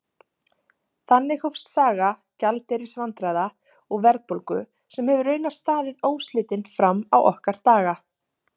Þannig hófst saga gjaldeyrisvandræða og verðbólgu sem hefur raunar staðið óslitin fram á okkar daga.